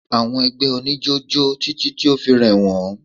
Àwọn ẹgbẹ́ oníjó jó títí tí o fi rẹ̀ wọ́n.